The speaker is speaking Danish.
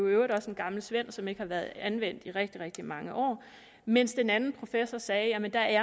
øvrigt også en gammel svend som ikke har været anvendt i rigtig rigtig mange år mens den anden professor sagde at der